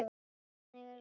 Hvernig er leigan?